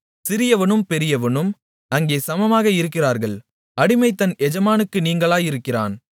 சிறியவனும் பெரியவனும் அங்கே சமமாக இருக்கிறார்கள் அடிமை தன் எஜமானுக்கு நீங்கலாயிருக்கிறான்